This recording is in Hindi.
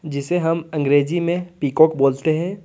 जिसे हम अंग्रेजी में पीकॉक बोलते हैं।